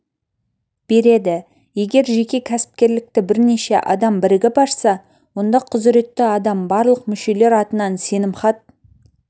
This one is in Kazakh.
береді егер жеке кәсіпкерлікті бірнеше адам бірігіп ашса онда құзіретті адам барлық мүшелер атынан сенімхат